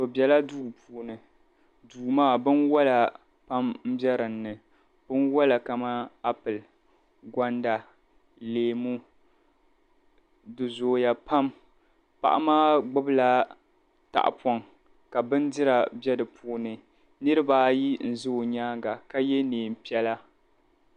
Bɛla duu puuni duu maa binwala n bɛ dini binwala kamani apɔli kɔda leemu di zooya pam paɣa maa gbubila tahipɔŋ ka bindira bɛ dini niriba ʒi nima ka ye liiga piɛla